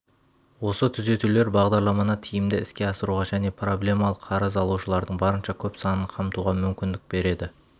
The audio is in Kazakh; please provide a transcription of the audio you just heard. осы түзетулер бағдарламаны тиімді іске асыруға және проблемалық қарыз алушылардың барынша көп санын қамтуға мүмкіндік береді